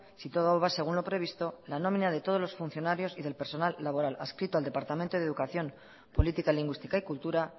si todo va según lo previsto la nómina de todos los funcionarios y del personal laboral adscrito al departamento de educación política lingüística y cultura